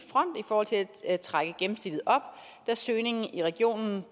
forhold til at trække gennemsnittet op da søgningen i regionen